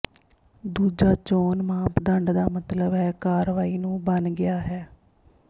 ਦੂਜਾ ਚੋਣ ਮਾਪਦੰਡ ਦਾ ਮਤਲਬ ਹੈ ਕਾਰਵਾਈ ਨੂੰ ਬਣ ਗਿਆ ਹੈ